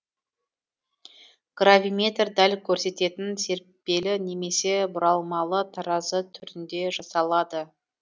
гравиметр дәл көрсететін серіппелі немесе бұралмалы таразы түрінде жасалады